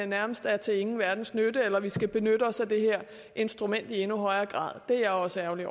nærmest er til ingen verdens nytte eller at vi skal benytte os af det her instrument i endnu højere grad det er jeg også ærgerlig